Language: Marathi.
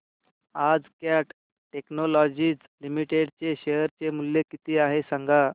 आज कॅट टेक्नोलॉजीज लिमिटेड चे शेअर चे मूल्य किती आहे सांगा